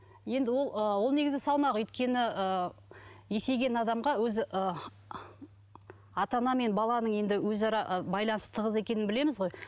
енді ол ы ол негізі салмақ өйткені ы есейген адамға өзі ы ата ана мен баланың енді өзара байланысы тығыз екенін білеміз ғой